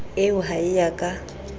eo ha e a ka